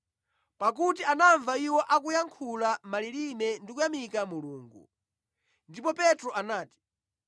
Pakuti anamva iwo akuyankhula mʼmalilime ndi kuyamika Mulungu. Ndipo Petro anati,